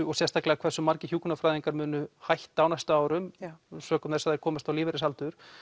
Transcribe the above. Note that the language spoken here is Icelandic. og sérstaklega hversu margir hjúkrunarfræðingar munu hætta á næstu árum sökum þess að þau komast á lífeyrisaldur